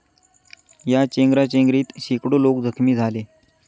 या चेंगराचेंगरीत शेकडो लोक जखमी झाले.